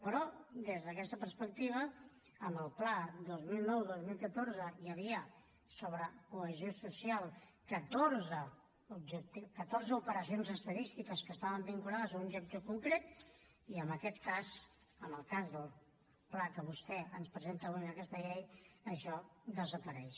però des d’aquesta perspectiva amb el pla dos mil nou dos mil catorze hi havia sobre cohesió social catorze operacions estadístiques que estaven vinculades a un objectiu concret i en aquest cas en el cas del pla que vostè ens presenta avui amb aquesta llei això desapareix